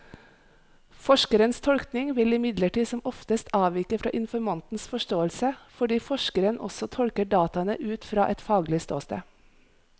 Forskerens tolkning vil imidlertid som oftest avvike fra informantens forståelse, fordi forskeren også tolker dataene ut fra et faglig ståsted.